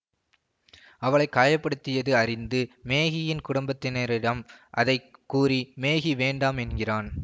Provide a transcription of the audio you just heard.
அவளை காய படுத்தியது அறிந்து மேகியின் குடும்பத்தினரிடம் அதை கூறி மேகி வேண்டாம் என்கிறான்